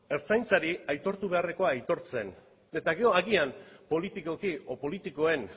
ertzaintzari aitortu beharrekoa aitortzen eta gero agian politikoki edo politikoen